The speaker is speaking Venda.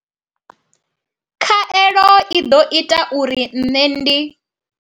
Khaelo i ḓo ita uri nṋe ndi.